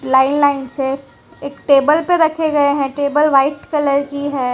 Line line से एक table पे रखे गए हैं टेबल व्हाइट कलर की है।